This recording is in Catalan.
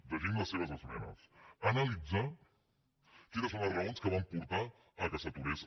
llegim les seves esmenes analitzar quines són les raons que van portar a que s’aturés